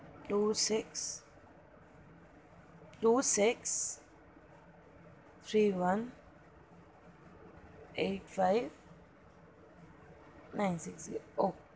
two six two six three one eight five nine six zero.